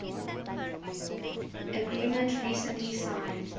agreement recently signed